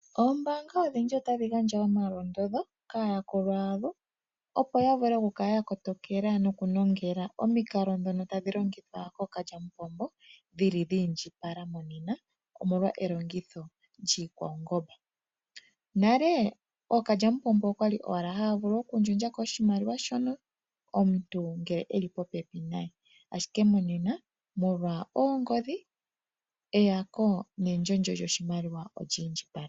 Oombaanga odhindji otadhi gandja omalondodho kaayakulwa yadho, opo ya vule oku kala yanongela omikalo ndhono tadhi longithwa kookalyampombo dhili dhiindjipala monena omolwa elongitho lyiikwaungomba. Nale ookalyampombo okwali ashike haya vulu oku yaka koshimaliwa shono ngele omuntu eli popepi naye, ashike monena molwa oongodhi eyako nendyolyo lneyako yoshimaliwa olyi indjipala.